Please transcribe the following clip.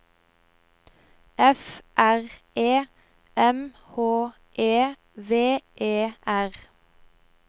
F R E M H E V E R